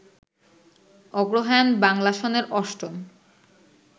অগ্রহায়ণ বাংলা সনের অষ্টম